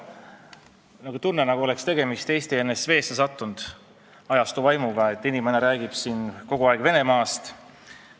Mul oli tunne, nagu oleks tegemist olnud ENSV ajastu vaimuga, sest inimene rääkis siin kogu aeg Venemaast.